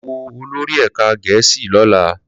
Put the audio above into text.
Lọ wo olórí ẹ̀ka Gẹ̀ẹ́sì lọ́la